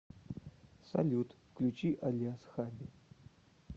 салют включи али ашаби